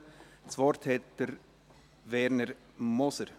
Das Wort hat Werner Moser.